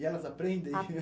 E elas aprendem?